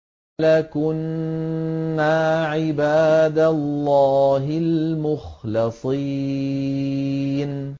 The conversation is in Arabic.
لَكُنَّا عِبَادَ اللَّهِ الْمُخْلَصِينَ